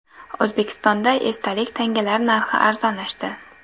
O‘zbekistonda esdalik tangalar narxi arzonlashdi.